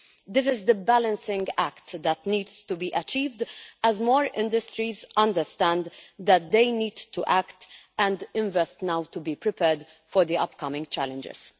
This is the balancing act that needs to be achieved as more industries understand that they need to act and invest now to be prepared for the upcoming challenges.